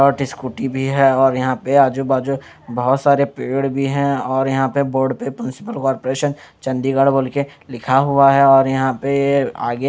hot scooty भी है और यहां पे आजू बाजू बहुत सारे पेड़ भी हैं और यहां पे बोर्ड पे म्युनिसिपल कॉरपोरेशन चंडीगढ़ बोल के लिखा हुआ है और यहां पे ये आगे--